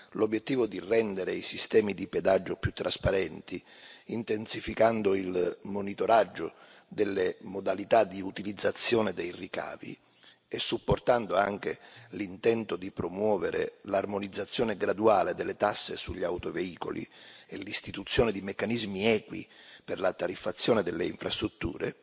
l'obiettivo di rendere i sistemi di pedaggio più trasparenti, intensificando il monitoraggio delle modalità di utilizzazione dei ricavi e supportando anche l'intento di promuovere l'armonizzazione graduale delle tasse sugli autoveicoli e l'istituzione di meccanismi equi per la tariffazione delle infrastrutture,